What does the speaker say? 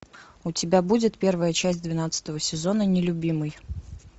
у тебя будет первая часть двенадцатого сезона нелюбимый